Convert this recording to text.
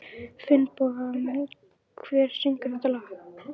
Finnboga, hver syngur þetta lag?